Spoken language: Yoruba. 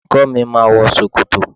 Olùkó mi ma wọ ṣòkòtò